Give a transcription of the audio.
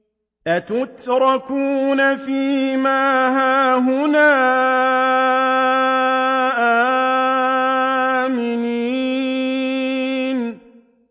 أَتُتْرَكُونَ فِي مَا هَاهُنَا آمِنِينَ